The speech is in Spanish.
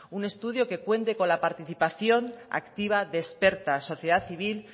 un estudio que cuente con la participación activa de experta sociedad civil